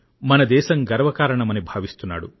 మన దేశం గర్వకారణమని భావిస్తున్నాడు